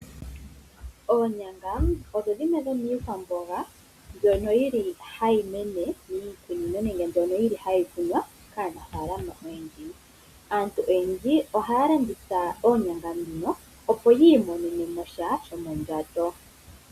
Oonyanga odho dhimwe dhomiikwamboga mbyoka hayi kunwa kaanafalama oyendji. Aantu oyendji ohaya landitha oonyangà opo yiimonenwsha shomondjato.